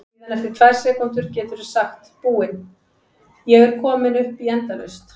Síðan eftir tvær sekúndur geturðu sagt Búin, ég er komin upp í endalaust!